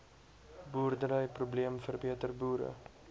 boerderyprobleem verbeter boere